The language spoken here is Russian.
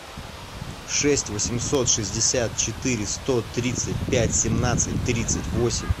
шесть восемьсот шестьдесят четыре сто тридцать пять семнадцать тридцать восемь